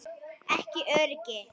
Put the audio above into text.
Ekki öryggi.